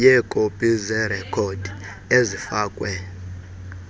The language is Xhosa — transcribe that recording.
yeekopi zerekhodi ezifakwe